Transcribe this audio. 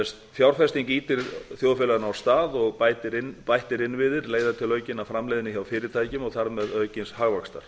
fjárfesting ýtir þjóðfélaginu af stað og bættir innviðir leiða til aukinnar framleiðni hjá fyrirtækjum og þar með aukins hagvaxtar